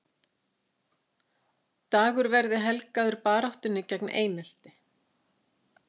Dagur verði helgaður baráttunni gegn einelti